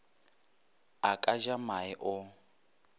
a ka ja mae o